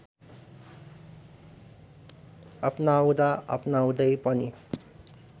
अपनाउँदा अपनाउँदै पनि